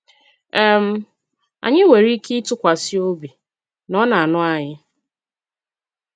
um Anyị nwere ike ịtụkwasị obi na Ọ na-anụ anyị.